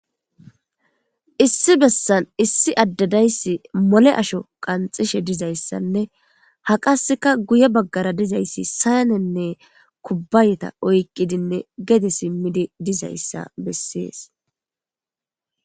issi bessan issi addedayssi mole asho qanxishe dizayssanne ha qaseka guye baggara dizayssi sayanenne kubbayeta oyqqidinne gede simmidi dizayssa bessees